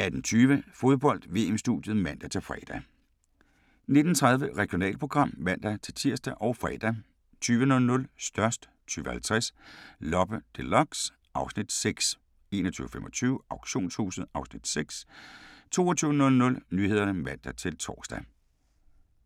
18:20: Fodbold: VM-studiet (man-fre) 19:30: Regionalprogram (man-tir og fre) 20:00: Størst 20:50: Loppe Deluxe (Afs. 6) 21:25: Auktionshuset (Afs. 6) 22:00: Nyhederne (man-tor)